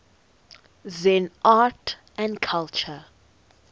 zen art and culture